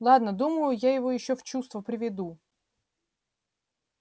ладно думаю я его ещё в чувство приведу